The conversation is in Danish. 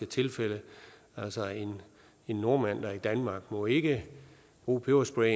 tilfælde altså en nordmand der er i danmark må ikke bruge peberspray